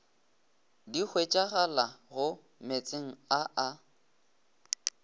di hwetšagalago meetseng a a